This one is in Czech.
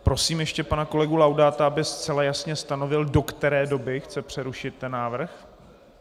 Prosím ještě pana kolegu Laudáta, aby zcela jasně stanovil, do které doby chce přerušit ten návrh.